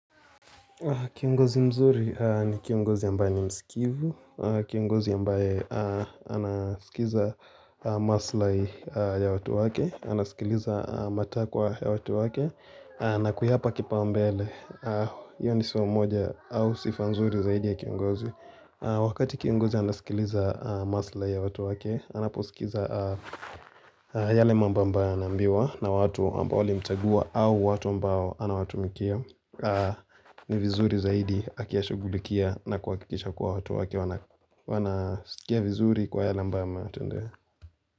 Kiongozi mzuri ni kiongozi ambae ni msikivu, kiongozi ambae anasikiza maslahi ya watu wake, anasikiliza matakwa ya watu wake na kuyapa kipaumbele, iyo ni siwa mmoja au sifa nzuri zaidi ya kiongozi Wakati kiongozi anasikiliza maslahi ya watu wake, anaposikiza yale mambo ambayo anambiwa na watu ambao walimchagua au watu ambao anawatumikia ni vizuri zaidi akiya shugulikia na kuhakisha kwa watu wake wanasia vizuri kwa yala mbama.